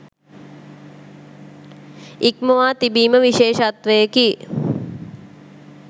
ඉක්මවා තිබීම විශේෂත්වයකි